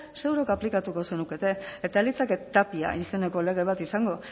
zuok aplikatuko zenukete eta ez litzateke tapia izeneko lege bat izango